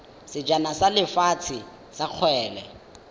sejana sa lefatshe sa kgwele